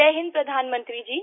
जय हिन्द प्रधानमंत्री जी